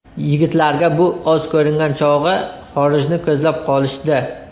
Yigitlarga bu oz ko‘ringan chog‘i, xorijni ko‘zlab qolishdi.